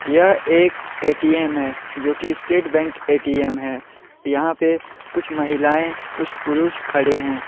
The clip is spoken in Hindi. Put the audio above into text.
यह एक ए_टी_एम जो की स्टेट बैंक ए_टी_एम है यहां पे कुछ महिलाएं कुछ पुरुष खड़े हैं।